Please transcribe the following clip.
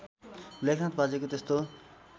लेखनाथ बाजेको त्यस्तो